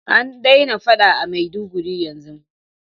An daina faɗa a maiduguri yanzun?